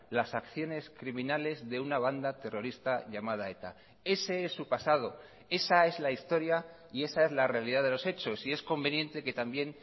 las acciones criminales de una banda terrorista llamada eta ese es su pasado esa es la historia y esa es la realidad de los hechos y es conveniente que también